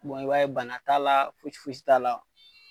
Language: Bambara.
Bɔn i b'a ye bana t'a la fosi fosi t'a la